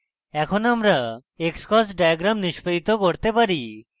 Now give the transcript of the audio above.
এখন আমরা xcos diagram নিস্পাদিত করতে পারি